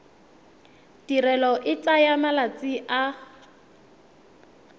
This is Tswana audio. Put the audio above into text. tirelo e tsaya malatsi a